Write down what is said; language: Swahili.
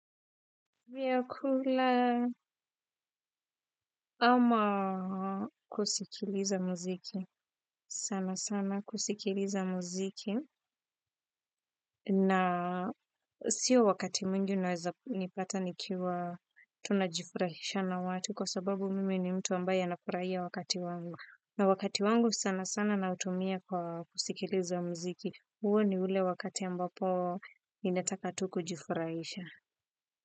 Viakula ama kusikiliza muziki. Sana sana kusikiliza muziki. Na kusi siyo wakati mwingi unaweza kunipata nikiwa tunajifurahisha na watu kwa sababu mimi ni mtu ambaye anafurahia wakati wangu. Na wakati wangu sana sana nautumia kwa kusikiliza muziki. Huo ni ule wakati ambapo ninataka tu kujifurahisha.